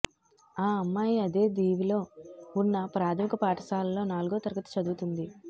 ఆ అమ్మాయి అదే దీవిలో ఉన్న ప్రాథమిక పాఠశాలలో నాల్గో తరగతి చదువుతోంది